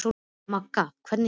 Manga, hvernig kemst ég þangað?